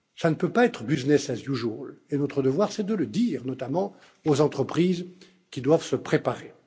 Cela ne peut pas être business as usual et notre devoir est de le dire, notamment aux entreprises, qui doivent se préparer.